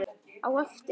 Á eftir?